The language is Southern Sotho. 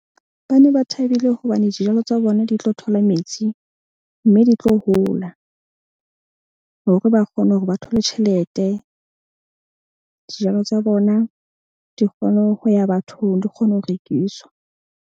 Ba ne ba thabile hobane dijalo tsa bona di tlo thola metsi. Mme di tlo hola hore ba kgone hore ba thole tjhelete. Dijalo tsa bona di kgone ho ya bathong, di kgone ho rekiswa.